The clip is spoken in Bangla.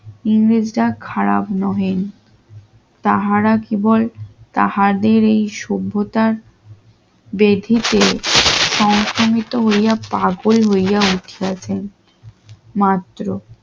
ইমেজটা খারাপ নহে তাহারা কেবল তাহাদের এই সভ্যতার বৃদ্ধিতে হয়তো হইয়া পাগল হইয়া উঠেছে মাত্র